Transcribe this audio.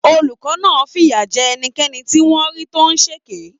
Olùkọ́ náà fìyà jẹ ẹnikẹ́ni tí wọ́n rí tó ń ṣèké.